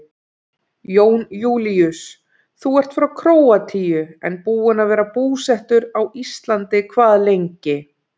Jón Júlíus: Þú ert frá Króatíu en búinn að vera búsettur á Íslandi hvað lengi?